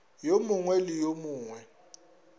yo mongwe le yo mongwe